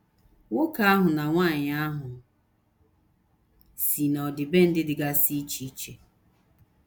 Nwoke ahụ na nwanyị ahụ si n’ọdịbendị dịgasị iche iche.